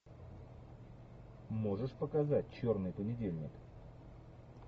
можешь показать черный понедельник